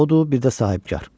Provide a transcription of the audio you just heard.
Odur, bir də sahibkar.